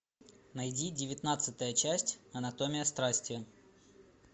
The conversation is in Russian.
найди девятнадцатая часть анатомия страсти